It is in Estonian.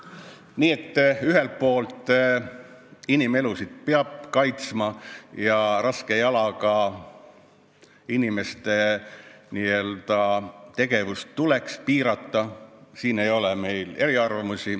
Nii et ühelt poolt, inimelusid peab kaitsma ja raske jalaga inimeste tegevust tuleb piirata, siin ei ole meil eriarvamusi.